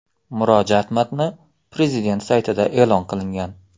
Murojaat matni prezident saytida e’lon qilingan .